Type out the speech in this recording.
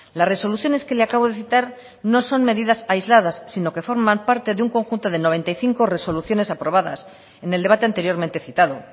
las resoluciones que le acabo de citar no son medidas aisladas sino que forman parte de un conjunto de noventa y cinco resoluciones aprobadas en el debate anteriormente citado